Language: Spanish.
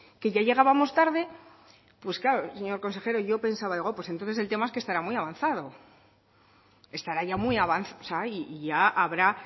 que ya llegábamos tarde pues claro señor consejero pues yo pensaba pues entonces es que el tema es que estarán muy avanzado estará ya muy avanzado y ya habrá